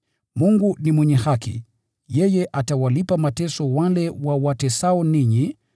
Mungu ni mwenye haki: yeye atawalipa mateso wale wawatesao ninyi